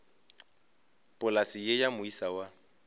polase ye ya moisa wa